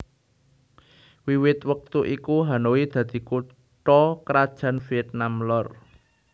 Wiwit wektu iku Hanoi dadi kutha krajan Vietnam Lor